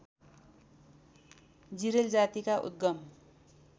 जिरेल जातिका उद्गम